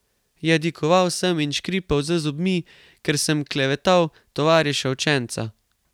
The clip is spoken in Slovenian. Jadikoval sem in škripal z zobmi, ker sem klevetal tovariša učenca.